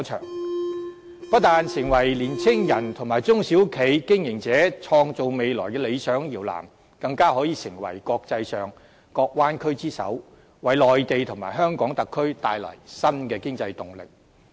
我也希望大灣區不但成為年青人和中小企經營者創造未來的理想搖籃，更可以成為國際上各灣區之首，為內地和香港特區帶來新的經濟動力。